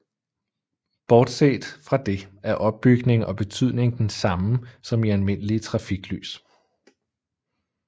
Bortset fra det er opbygning og betydning den samme som i almindelige trafiklys